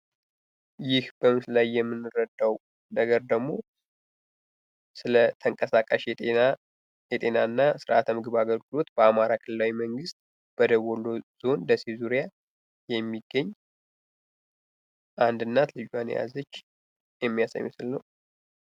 ይህ በምስሉ ላይ የምንረዳዉ ነገር ደግሞ ስለ ተንቀሳቃሽ የጤና የጤና እና ስርዓተ ምግብ አገልግሎት በአማራ ክልላዊ መንግስት ደቡብ ወሎ ዞን ደሴ ዙሪያ አንድ እናት ልጆን የያዘች የሚያሳይ ምስል ነዉ።